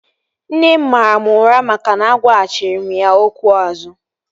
Nne m mara mụ ụra maka na agwaghachiri m ya okwu azu